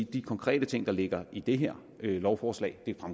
de konkrete ting der ligger i det her lovforslag